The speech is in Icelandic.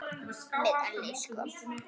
Með elli sko.